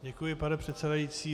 Děkuji, pane předsedající.